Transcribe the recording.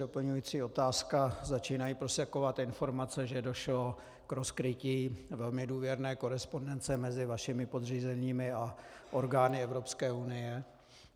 Doplňují otázka: Začínají prosakovat informace, že došlo k rozkrytí velmi důvěrné korespondence mezi vašimi podřízenými a orgány Evropské unie.